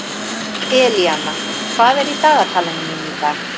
Elíana, hvað er í dagatalinu mínu í dag?